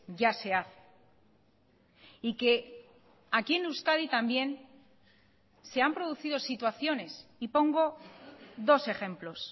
ya se hace y que aquí en euskadi también se han producido situaciones y pongo dos ejemplos